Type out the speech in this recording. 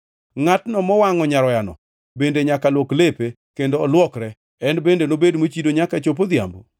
Ngʼatno mowangʼo nyaroyano bende nyaka luok lepe, kendo olwokre, en bende nobed mochido nyaka chop odhiambo.